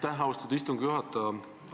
Aitäh, austatud istungi juhataja!